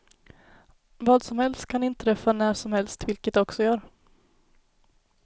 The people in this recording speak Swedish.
Vad som helst kan inträffa när som helst, vilket det också gör.